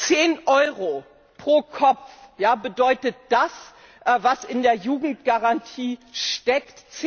10 Euro pro Kopf bedeutet das, was in der Jugendgarantie steckt!